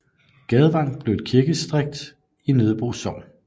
Gadevang blev så et kirkedistrikt i Nødebo Sogn